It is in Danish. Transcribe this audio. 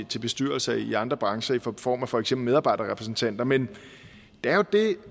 til bestyrelser i andre brancher i form form af for eksempel medarbejderrepræsentanter men der er jo det